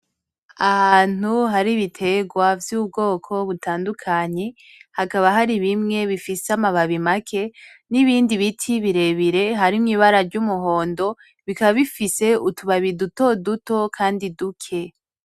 Ahantu hari ibitegwa vy'ubwoko butandukanye , hakaba hari bimwe bifise amababi make n'ibindi biti birebire harimwo ibara ry'umuhondo, bikaba bifise utubabi dutoduto kandi duke.